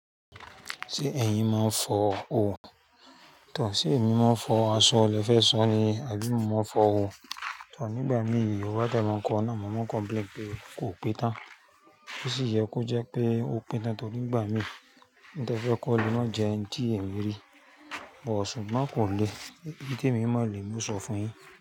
Tí ẹ̀yin máa ń fọ òò, tọ sí èmi máa ń fọ aṣọ, lẹ fẹ́ sọ ni àbí mo máa fọ òò? Tọ̀ nígbà mí yìí, ó bá dà máa kọ náà, màá kọ blame pé kò pé tán. Ó sì yẹ kó jẹ́ pé ó pé tán torí ìgbà mí ní tẹ fẹ́ kó le máa jẹ ẹ́ńtì èmi rí. Ọ̀ súgbo kò le. Íté mi mo, le mi sọ fún yin.